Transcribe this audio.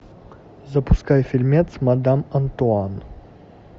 запускай фильмец мадам антуан